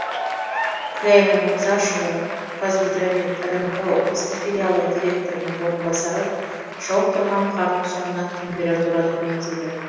күлайна мырзашева қазгидромет рмк облыстық филиалы директорының орынбасары жауып тұрған қардың соңынан температура төмендейді